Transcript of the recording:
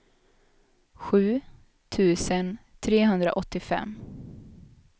sju tusen trehundraåttiofem